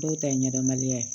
Dɔw ta ye ɲɛdɔnbaliya ye